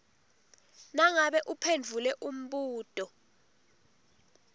nangabe uphendvule umbuto